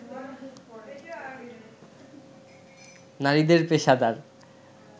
নারীদের পেশাদার